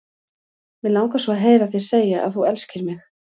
Mig langar svo að heyra þig segja að þú elskir mig!